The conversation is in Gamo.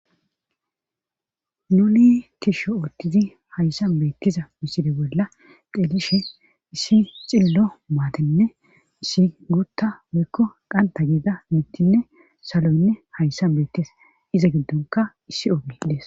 Nuli tisho oottizi hayssan beettiza misire bolla deelishe issi xillo maatenne issi guutta weykko qanta geeda mittinne saloynne hayssan beettes iza giddonka issi obedes